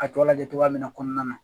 A tɔgɔ lajɛ cogoya min kɔnɔna na